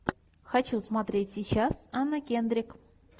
хочу смотреть сейчас анна кендрик